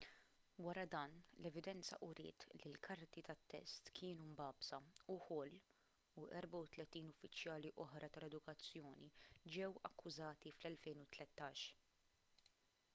wara dan l-evidenza uriet li l-karti tat-test kienu mbagħbsa u hall u 34 uffiċjali oħra tal-edukazzjoni ġew akkużati fl-2013